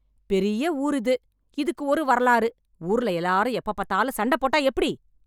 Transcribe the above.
பெரிய ஊர் இது, இதுக்கு ஒரு வரலாறு, ஊர்ல எல்லாரும் எப்ப பார்த்தாலும் சண்டை போட்டா எப்படி?